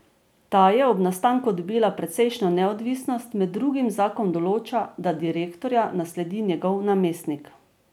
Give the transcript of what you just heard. Ta je ob nastanku dobila precejšnjo neodvisnost, med drugim zakon določa, da direktorja nasledi njegov namestnik.